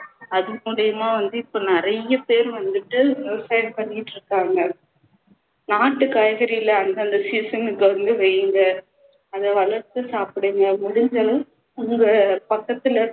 அது மூலமா வந்து இப்போ நிறைய பேர் வந்துட்டு விவசாயம் பண்ணிட்ருக்காங்க நாட்டு காய்கறிகளை அந்தந்த season க்கு வந்து வைங்க அதை வளர்த்து சாப்பிடுங்க முடிஞ்ச அளவு உங்க பக்கத்துல